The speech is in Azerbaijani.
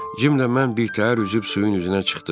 Cimlə mən birtəhər üzüb suyun üzünə çıxdıq.